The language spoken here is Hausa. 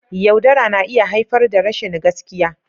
Yaudara na iya haifar da rashin gaskiya.